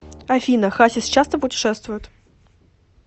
афина хасис часто путешествует